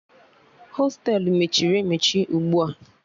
Hostelu mechiri emechi ugbu a